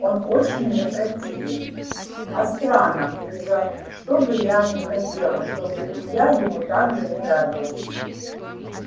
он очень мне противен а странно ни за что б я не хотела чтоб и я ему так же не нравилась